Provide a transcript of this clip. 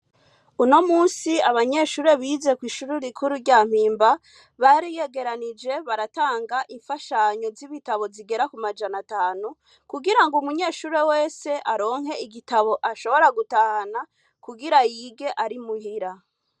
Uno musi abanyeshure bize kw'ishure rikuru rya Mpimba, bariyegeranije baratanga imfashanyo y'ibitabo zigera ku majana atanu, kugirango umunyeshure wese aronke igitabo ashobora gutahana kugira yige ari muhira.